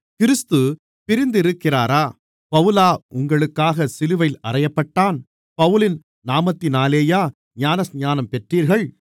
கிறிஸ்து பிரிந்திருக்கிறாரா பவுலா உங்களுக்காகச் சிலுவையில் அறையப்பட்டான் பவுலின் நாமத்தினாலேயா ஞானஸ்நானம் பெற்றீர்கள்